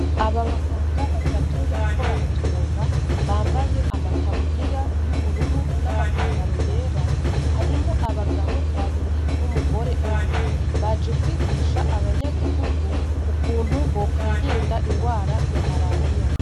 Aba baganga batatu bariko baratwenga ,bambaye amataburiya y'ubururu nama pantaro yera ,harimwo abagabo babiri n' umugore umwe. baje kwigisha abanyagihugu ukuntu bokwirinda ingwara ya Marariya.